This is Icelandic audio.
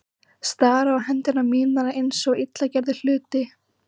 Stari á hendur mínar eins og illa gerða hluti.